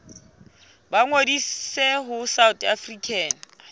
ba ngodise ho south african